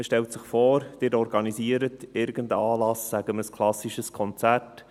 Stellen Sie sich vor, Sie organisieren irgendeinen Anlass, sagen wir, ein klassisches Konzert.